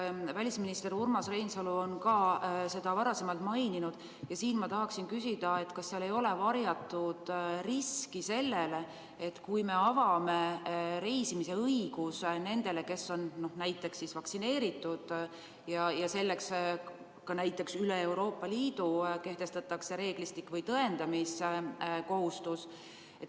Välisminister Urmas Reinsalu on ka seda varem puudutanud ja ma tahan küsida, kas ei teki varjatud risk, kui me anname reisimise õiguse nendele, kes on vaktsineeritud, kui selleks kehtestatakse ka üle Euroopa Liidu reeglistik või tõendamiskohustus.